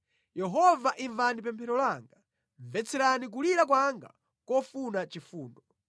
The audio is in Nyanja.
Yehova imvani pemphero langa; mvetserani kulira kwanga kofuna chifundo.